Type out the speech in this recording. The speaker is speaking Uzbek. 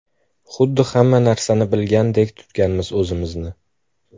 Xuddi hamma narsani biladigandek tutganmiz o‘zimizni.